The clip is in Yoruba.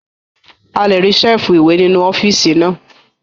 A lè rí Ṣẹ́ẹ̀fù ìwé nínú ọ́fíìsì náà